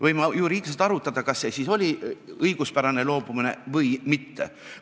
Võime arutada, et kas see oli õiguspärane loobumine või mitte.